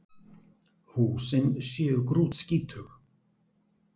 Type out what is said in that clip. Húsin séu grútskítug